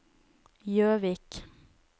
Jøvik